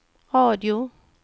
radio